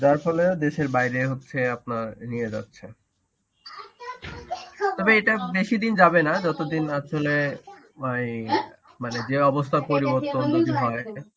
যার ফলে দেশের বাইরে হচ্ছে আপনার নিয়ে যাচ্ছে. তবে এটা বেশিদিন যাবে না যতদিন আসলে ওই মানে যে অবস্থার পরিবর্তন যদি হয় .